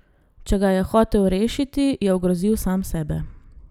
Če ga je hotel rešiti, je ogrozil sam sebe.